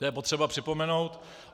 To je potřeba připomenout.